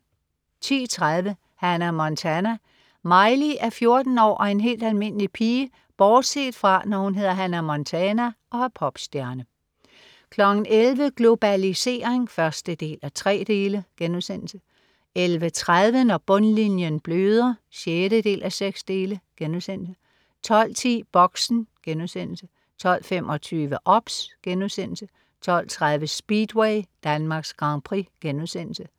10.30 Hannah Montana. Miley er 14 år og en helt almindelig pige bortset fra, når hun hedder Hannah Montana og er popstjerne 11.00 Globalisering 1:3* 11.30 Når bundlinjen bløder 6:6* 12.10 Boxen* 12.25 OBS* 12.30 Speedway: Danmarks Grand Prix*